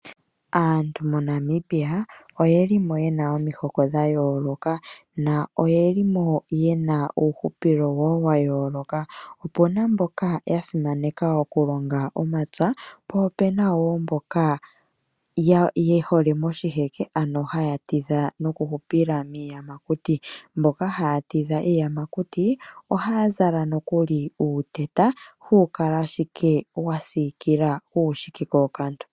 Aantu moNamibia oyeli mo yena oomihoko dha yoloka. Na oye limo yena uuhupilo wo wayoloka. Opuna mboka ya simaneka oku longa omapya. Po opena wo mboka ye hole moshiheke ano haya tidha noku hupila miiyamakuti. Mboka haya tidha iiyamakuti oha za nokuli uuteta hawu kala ashike wa sikilila uukashike kookantu.